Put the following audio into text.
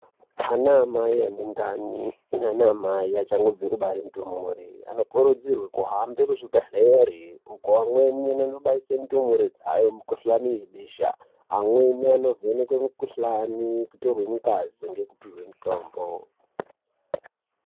Ana amai ane ndani naana amai achangobve kubare ndumure, anokurudzirwe kuhambe muzvibhedhlere uko amweni anonobaise ndumure dzayo mikuhlane yebesha, amweni anovhenekwe mukuhlani, kutorwe ngazi ngekupihwe mutombo.